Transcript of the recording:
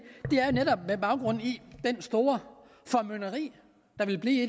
netop med baggrund i det store formynderi der vil blive